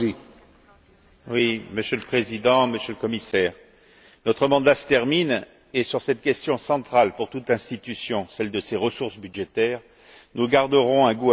Monsieur le Président, Monsieur le Commissaire, notre mandat se termine et sur cette question centrale pour toute l'institution, celle de ses ressources budgétaires, nous garderons un goût amer, celui de l'échec.